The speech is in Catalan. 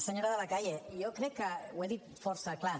senyora de la calle jo crec que ho he dit força clar